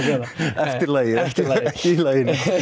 eftir lagið eftir lagið